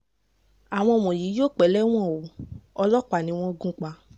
àwọn eléyìí yóò pẹ́ lẹ́wọ̀n o ọlọ́pàá ni wọ́n gún lọ́bẹ̀ pa